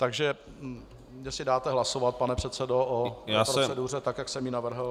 Takže jestli dáte hlasovat, pane předsedo, o proceduře, tak jak jsem ji navrhl?